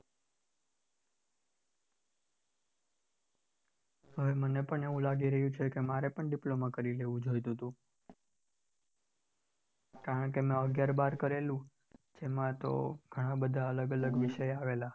હવે મને પણ એવું લાગી રહ્યું છે કે મારે પણ diploma કરી લેવું જોઈતુંતું, કારણ કે મેં આગિયાર બાર કરેલું એમાં તો ઘણા બધા અલગ-અલગ વિષય આવેલા.